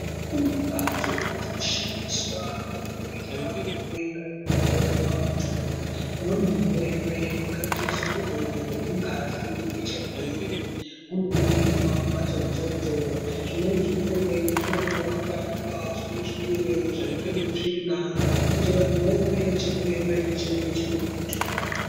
Kunembatso dzinoshandiswa kuningirwa hurwere hunenge huripaantu umweni urwere hwakaite seurwere hwemungazi HIV hunoningirwa kumhatso idzodzo , zvimweni zvirwere zvinotorwa makararwa, zvimweni zvirwere zvinotorwe tsvina kuti vantu vaone chirwere chinenge chinemuntu.